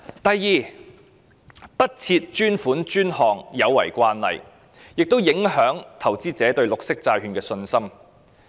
第二，不設專款專項有違慣例，亦影響投資者對綠色債券的信心。